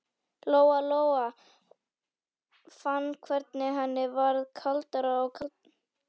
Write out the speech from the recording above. Lóa-Lóa fann hvernig henni varð kaldara og kaldara á höndunum.